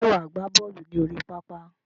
Ṣé wà á gbá bọ́ọ̀lù ní orí pápá?